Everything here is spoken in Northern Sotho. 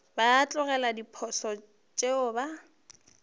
ba tlogele diposo tšeo ba